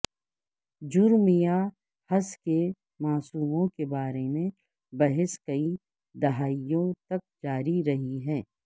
جرم یا ہس کے معصوموں کے بارے میں بحث کئی دہائیوں تک جاری رہی ہے